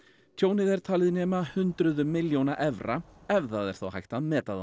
tjónið er talið nema hundruðum milljóna evra ef það er þá hægt að meta það